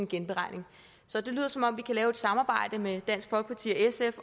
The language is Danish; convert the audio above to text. genberegning så det lyder som om vi kan lave et samarbejde med dansk folkeparti og sf